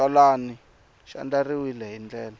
xitsalwana xi andlariwile hi ndlela